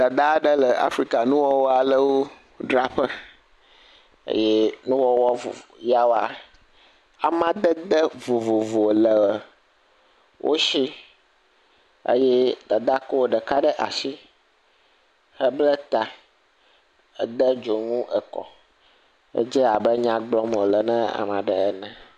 Dadaa aɖe le Afrikanuwɔwɔwo dzraƒe. Eye nuwɔwɔ vovovo yawoa, amadede vovovo le wo shi eye dadaa kɔ ɖeka ɖe ashi hebla ta. Hede dzonu ekɔ. Edze abe nya gblɔm wòle na ame aɖe ene.